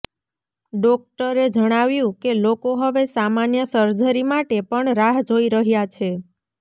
ડોક્ટરે જણાવ્યું કે લોકો હવે સામાન્ય સર્જરી માટે પણ રાહ જોઈ રહ્યા છે